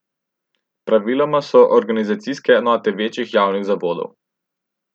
Praviloma so organizacijske enote večjih javnih zavodov.